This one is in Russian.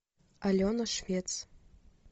алена швец